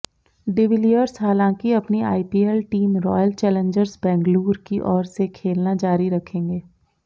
de Villiers हालांकि अपनी IPL team royal challengers Bangalore की ओर से खेलना जारी रखेंगे